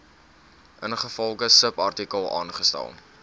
ingevolge subartikel aangestel